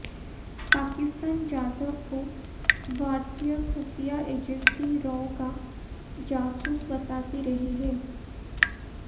पाकिस्तान जाधव को भारतीय खुफिया एजेंसी रॉ का जासूस बताती रही है